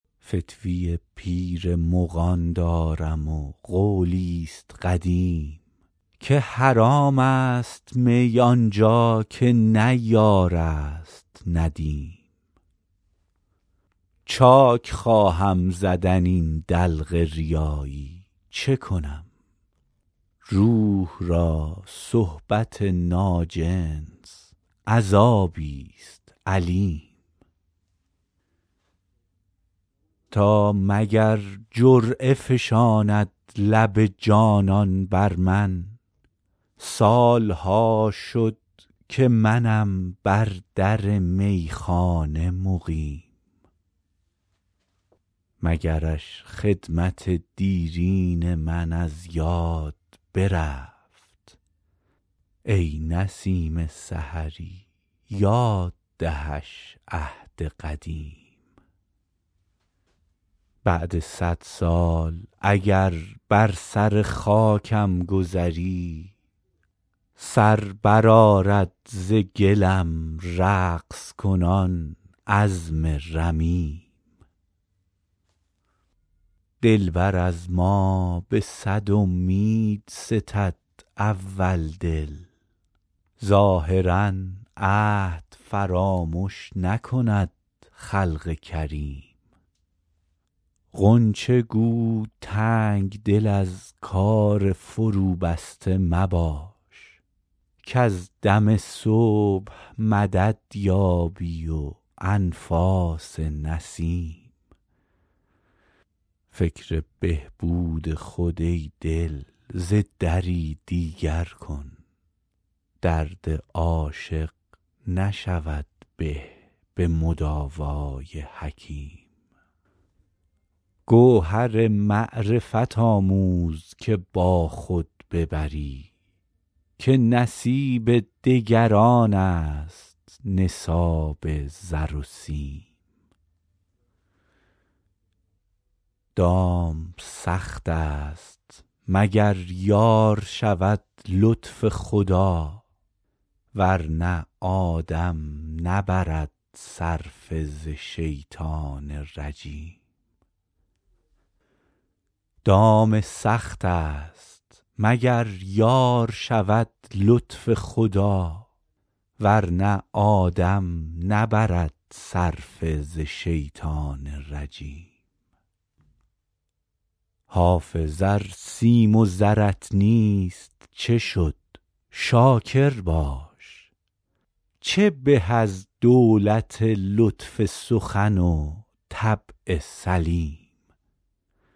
فتوی پیر مغان دارم و قولی ست قدیم که حرام است می آن جا که نه یار است ندیم چاک خواهم زدن این دلق ریایی چه کنم روح را صحبت ناجنس عذابی ست الیم تا مگر جرعه فشاند لب جانان بر من سال ها شد که منم بر در میخانه مقیم مگرش خدمت دیرین من از یاد برفت ای نسیم سحری یاد دهش عهد قدیم بعد صد سال اگر بر سر خاکم گذری سر برآرد ز گلم رقص کنان عظم رمیم دلبر از ما به صد امید ستد اول دل ظاهرا عهد فرامش نکند خلق کریم غنچه گو تنگ دل از کار فروبسته مباش کز دم صبح مدد یابی و انفاس نسیم فکر بهبود خود ای دل ز دری دیگر کن درد عاشق نشود به به مداوای حکیم گوهر معرفت آموز که با خود ببری که نصیب دگران است نصاب زر و سیم دام سخت است مگر یار شود لطف خدا ور نه آدم نبرد صرفه ز شیطان رجیم حافظ ار سیم و زرت نیست چه شد شاکر باش چه به از دولت لطف سخن و طبع سلیم